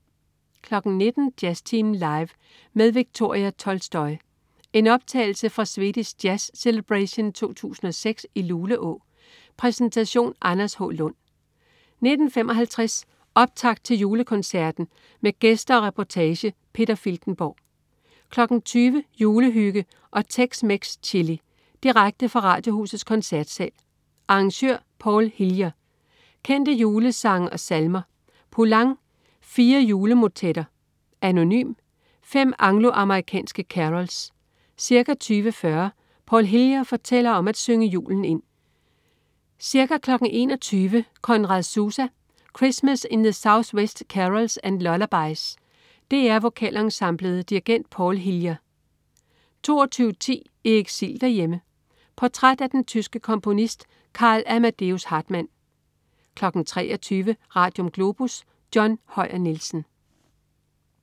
19.00 Jazztimen Live. Med Viktoria Tolstoy. En optagelse fra Swedisk Jazz Celebration 2006 i Luleå. Præsentation: Anders H. Lund 19.55 Optakt til Julekoncerten. Med gæster og reportage. Peter Filtenborg 20.00 Julehygge og tex-mex chili. Direkte fra Radiohusets Koncertsal. Arr.: Paul Hillier: Kendte julesange og salmer. Poulenc: Fire Julemotetter. Anonym: Fem anglo-amerikanske carols. Ca. 20.40 Paul Hillier fortæller om at synge julen ind. Ca. 21.00 Conrad Susa: Christmas in the Southwest Carols and Lullabies. DR Vokalensemblet. Dirigent: Paul Hillier 22.10 I eksil derhjemme. Portræt af den tyske komponist Karl Amadeus Hartmann 23.00 Radium. Globus. John Høyer Nielsen